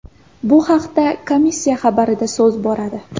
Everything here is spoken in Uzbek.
Bu haqda komissiya xabarida so‘z bo‘radi .